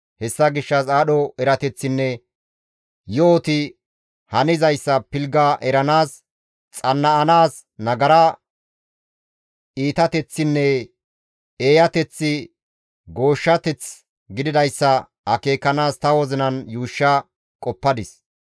Hessa gishshas aadho erateththinne yo7oti hanizayssa pilgga eranaas, xanna7anaas nagara iitateththinne eeyateththi gooshshateth gididayssa akeekanaas ta wozinan yuushsha qoppadis.